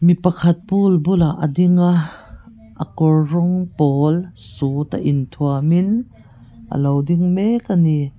mi pakhat pool bulah a ding a a kawr rawng pawl suit a in thuam in a lo ding mek a ni.